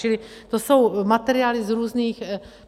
Čili to jsou materiály z různých...